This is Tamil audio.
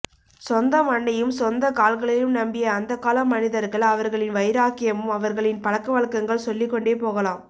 சொந்தமண்ணையும் சொந்தக்கால்களையும் நம்பிய அந்தக்கால மனிதர்கள் அவர்களின் வைராக்கியம் அவர்களின் பழக்கவழக்கங்கள் சொல்லிக்கொண்டே போகலாம்